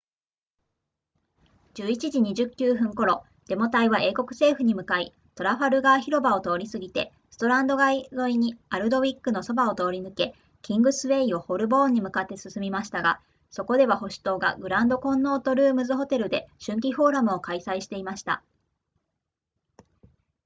11時29分頃デモ隊は英国政府に向かいトラファルガー広場を通り過ぎてストランド街沿いにアルドウィックのそばを通り抜けキングスウェイをホルボーンに向かって進みましたがそこでは保守党がグランドコンノートルームズホテルで春季フォーラムを開催していました